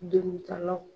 Degun kalaw